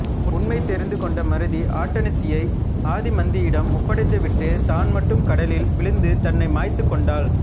உண்மை தெரிந்துகொண்ட மருதி ஆட்டனத்தியை ஆதிமந்தியிடம் ஒப்படைத்துவிட்டுத் தான்மட்டும் கடலில் விழுந்து தன்னை மாய்த்துக்கொண்டாள்